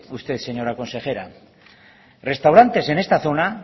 usted señora consejera restaurantes en esta zona